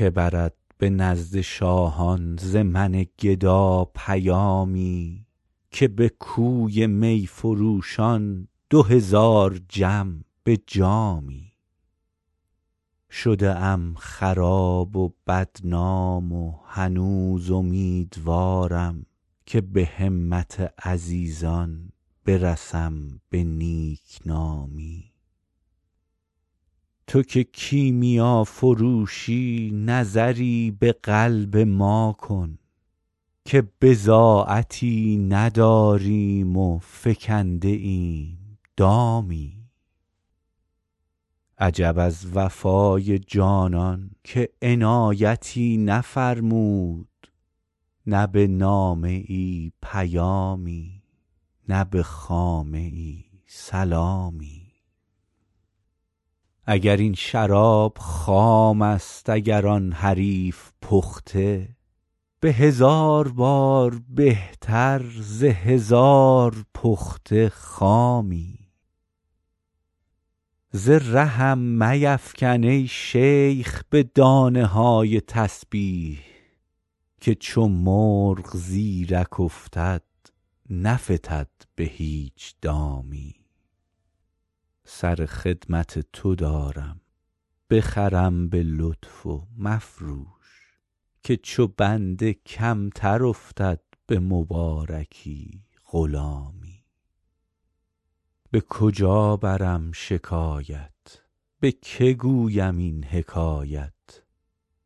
که برد به نزد شاهان ز من گدا پیامی که به کوی می فروشان دو هزار جم به جامی شده ام خراب و بدنام و هنوز امیدوارم که به همت عزیزان برسم به نیک نامی تو که کیمیافروشی نظری به قلب ما کن که بضاعتی نداریم و فکنده ایم دامی عجب از وفای جانان که عنایتی نفرمود نه به نامه ای پیامی نه به خامه ای سلامی اگر این شراب خام است اگر آن حریف پخته به هزار بار بهتر ز هزار پخته خامی ز رهم میفکن ای شیخ به دانه های تسبیح که چو مرغ زیرک افتد نفتد به هیچ دامی سر خدمت تو دارم بخرم به لطف و مفروش که چو بنده کمتر افتد به مبارکی غلامی به کجا برم شکایت به که گویم این حکایت